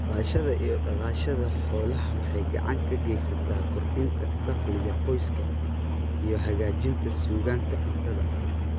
Dhaqashada iyo dhaqashada xoolaha waxay gacan ka geysataa kordhinta dakhliga qoyska iyo hagaajinta sugnaanta cuntada.